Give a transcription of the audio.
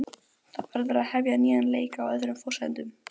Mamma kveður mig með kossi á þröskuldinum.